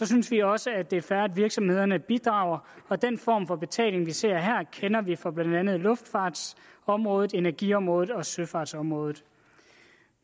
synes vi også at det er fair at virksomhederne bidrager den form for betaling vi ser her kender vi fra blandt andet luftfartsområdet energiområdet og søfartsområdet